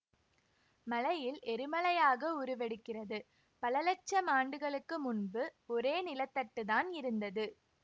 மலையில் எரிமலையாக உருவெடுக்கிறதுபல லட்சம் ஆண்டுகளுக்கு முன்பு ஒரே நிலத்தட்டுத்தான் இருந்தது